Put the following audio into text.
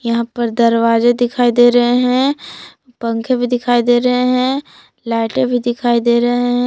यहाँ पर दरवाज़े दिखाई दे रहे हैं पंखे भी दिखाई दे रहे हैं लाइटें भी दिखाई दे रहे हैं।